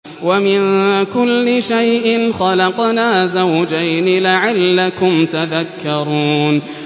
وَمِن كُلِّ شَيْءٍ خَلَقْنَا زَوْجَيْنِ لَعَلَّكُمْ تَذَكَّرُونَ